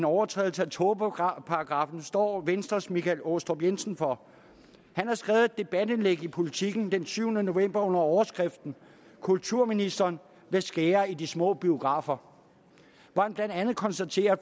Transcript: overtrædelse af tåbeparagraffen står venstres herre michael aastrup jensen for han har skrevet et debatindlæg i politiken den syvende november under overskriften kulturministeren vil skære i de små biografer her konstaterer